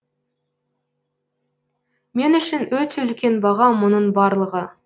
мен үшін өте үлкен баға мұның барлығы